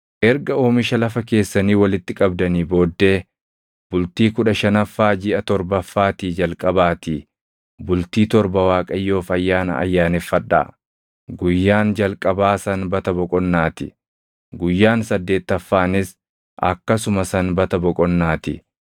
“ ‘Erga oomisha lafa keessanii walitti qabdanii booddee bultii kudha shanaffaa jiʼa torbaffaatii jalqabaatii bultii torba Waaqayyoof ayyaana ayyaaneffadhaa; guyyaan jalqabaa sanbata boqonnaa ti; guyyaan saddeettaffaanis akkasuma sanbata boqonnaa ti.